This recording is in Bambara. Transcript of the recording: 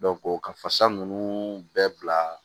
ka fasa ninnu bɛɛ bila